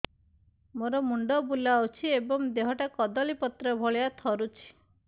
ମୋର ମୁଣ୍ଡ ବୁଲାଉଛି ଏବଂ ଦେହଟା କଦଳୀପତ୍ର ଭଳିଆ ଥରୁଛି